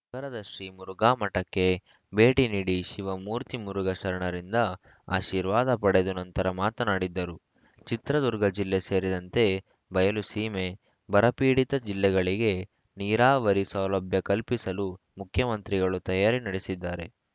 ನಗರದ ಶ್ರೀಮುರುಘಾಮಠಕ್ಕೆ ಭೇಟಿ ನೀಡಿ ಶಿವಮೂರ್ತಿ ಮುರುಘಾ ಶರಣರಿಂದ ಆಶೀರ್ವಾದ ಪಡೆದು ನಂತರ ಮಾತನಾಡಿದರು ಚಿತ್ರದುರ್ಗ ಜಿಲ್ಲೆ ಸೇರಿದಂತೆ ಬಯಲು ಸೀಮೆ ಬರ ಪೀಡಿತ ಜಿಲ್ಲೆಗಳಿಗೆ ನೀರಾವರಿ ಸೌಲಭ್ಯ ಕಲ್ಪಿಸಲು ಮುಖ್ಯಮಂತ್ರಿಗಳು ತಯಾರಿ ನಡೆಸಿದ್ದಾರೆ